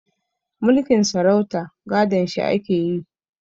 Mulkin sarauta gadon shi ake yi